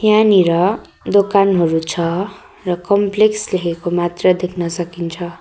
यहाँनिर दोकानहरू छ र कम्प्लेक्स लेखेको मात्र देख्न सकिन्छ।